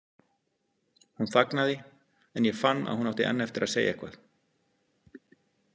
Hún þagnaði en ég fann að hún átti enn eftir að segja eitthvað.